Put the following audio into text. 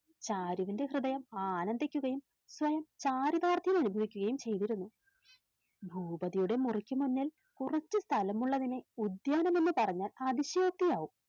ചാരുവിന്റെ ഹൃദയം ആനന്ദിക്കുകയും സ്വയം ചാരുദാർഥ്യം യും ചെയ്തിരുന്നു ഭൂപതിയുടെ മുറിക്കുമുന്നിൽ കുറച്ച് സ്ഥലമുള്ളതിനെ ഉദ്യാനം എന്നുപറഞ്ഞാൽ അതിശയോക്തിയാവും